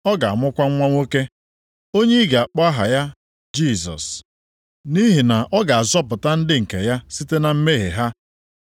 Ọ ga-amụkwa nwa nwoke, onye ị ga-akpọ aha ya Jisọs, + 1:21 Jisọs nke a bụ otu ndị Griik si akpọ Joshua nke pụtara \+nd Onyenwe anyị\+nd* na-azọpụta. nʼihi na ọ ga-azọpụta ndị nke ya site na mmehie ha.”